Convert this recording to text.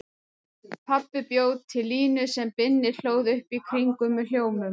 Pabbi bjó til línu sem Binni hlóð upp í kringum með hljómum.